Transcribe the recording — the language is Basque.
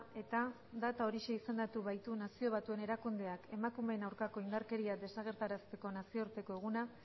eta data horixe izendatu baitu nazio batuen erakundeak emakumeen aurkako indarkeria desagerrarazteko nazioarteko eguna